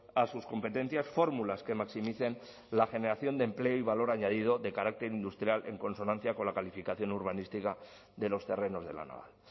a sus competencias fórmulas que maximicen la generación de empleo y valor añadido de carácter industrial en consonancia con la calificación urbanística de los terrenos de la naval